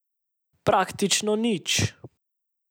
Praktično nič.